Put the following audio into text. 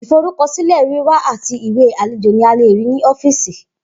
Iforukọsilẹ wiwa ati iwe alejo ni a le rii ni ọfiisi.